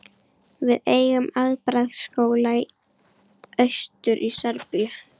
Við eigum afbragðs skóla austur í Síberíu.